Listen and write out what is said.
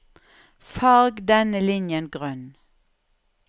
Farg denne linjen grønn